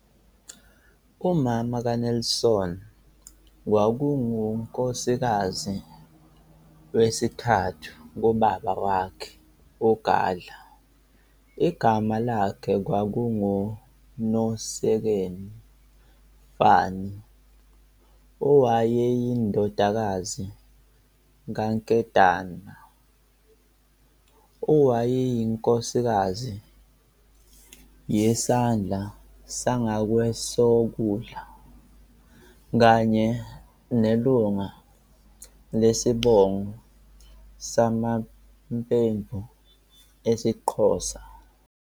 Umama kaNelson kwakungunkosikazi wesithathu kababa wakhe uGadla, igama lakhe kwakunguNosekeni Fanny, owayeyindodakazi kaNkedama, owayeyinkosikazi yeSandla sangakweSokudla, kanye nelunga lesibongo samaMpemvu esiXhosa.